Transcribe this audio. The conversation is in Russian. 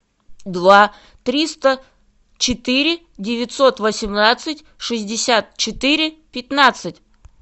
два триста четыре девятьсот восемнадцать шестьдесят четыре пятнадцать